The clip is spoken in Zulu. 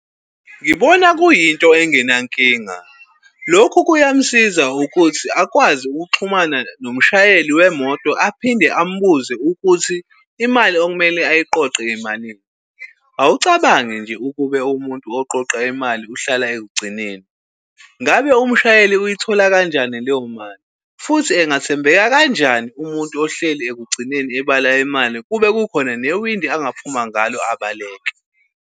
Ngibona kuyinto engenankinga. Lokhu kuyamsiza ukuthi akwazi ukuxhumana nomshayeli wemoto aphinde ambuze ukuthi imali okumele ayiqoqe imalini. Awucabange nje ukube umuntu oqoqa imali uhlala ekugcineni. Ngabe umshayeli uyithola kanjani leyo mali? Futhi engathembeka kanjani umuntu ohleli ekugcineni ebala imali kube kukhona newindi angaphumia ngalo abaleke?